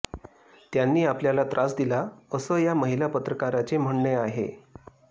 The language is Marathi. त्यांनी आपल्याला त्रास दिला असं या महिला पत्रकाराचे म्हणणे आहे